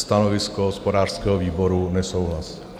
Stanovisko hospodářského výboru: nesouhlas.